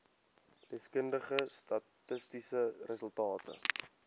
deskundige statistiese resultate